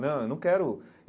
Não, eu não quero.